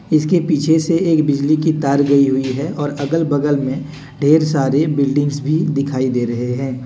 इसके पीछे से एक बिजली की तार गई हुई है और अगल बगल में ढेर सारी बिल्डिंग भी दिखाई दे रहे हैं।